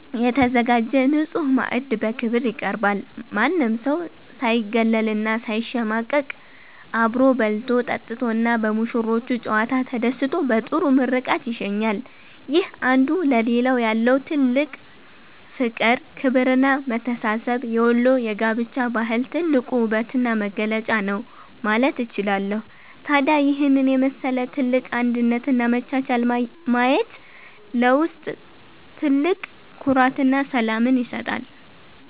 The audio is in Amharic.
የተዘጋጀ ንጹሕ ማዕድ በክብር ይቀርባል። ማንም ሰው ሳይገለልና ሳይሸማቀቅ አብሮ በልቶ፣ ጠጥቶና በሙሽሮቹ ጨዋታ ተደስቶ በጥሩ ምርቃት ይሸኛል። ይህ አንዱ ለሌላው ያለው ጥልቅ ፍቅር፣ ክብርና መተሳሰብ የወሎ የጋብቻ ባህል ትልቁ ውበትና መገለጫ ነው ማለት እችላለሁ። ታዲያ ይህንን የመሰለ ትልቅ አንድነትና መቻቻል ማየት ለውስጥ ትልቅ ኩራትና ሰላምን ይሰጣል።